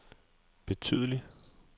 betydelig